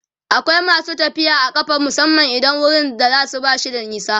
akwai masu tafiya a ƙafa musamman idan wurin da zasuje bashi da nisa